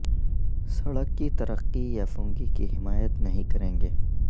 سڑک کی ترقی یا فنگی کی حمایت نہیں کریں گے